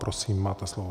Prosím, máte slovo.